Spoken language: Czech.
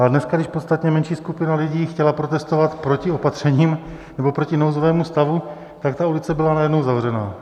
A dneska, když podstatně menší skupina lidí chtěla protestovat proti opatřením nebo proti nouzovému stavu, tak ta ulice byla najednou zavřená.